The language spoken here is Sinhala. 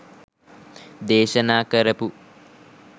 දේශනා කරපු